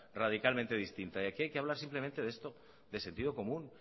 radicalmente distinta y aquí hay que hablar simplemente de esto de sentido común